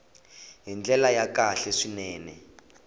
hi ndlela ya kahle swinene